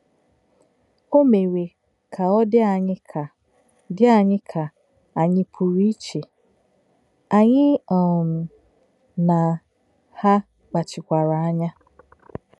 Ó mè̄ré̄ kà ọ̀ dí̄ ànyí̄ kà dí̄ ànyí̄ kà ànyí̄ pù̄rụ̄ íché̄, ànyí̄ um na hà̄ kpáchíkwárà ányá̄.